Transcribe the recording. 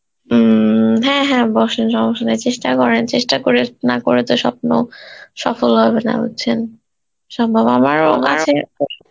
উম হ্যাঁ হ্যাঁ বসেন সমস্যা নাই চেষ্টা করেন, চেষ্টা করে, না করে তো স্বপ্ন সফল হবে না বুঝছেন সম্ভব আমারও আমার কাছে